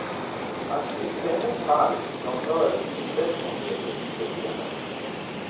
Han kysste hennes hals, från örsnibben och ned till nyckelbenet.